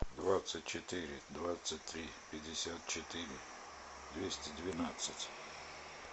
двадцать четыре двадцать три пятьдесят четыре двести двенадцать